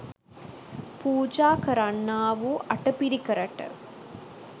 පූජා කරන්නා වූ අටපිරිකරට